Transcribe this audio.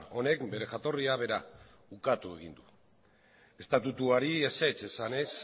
honek bere jatorria bera ukatu egin du estatutuari ezetz esanez